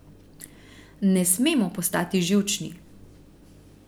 Ne smemo postati živčni.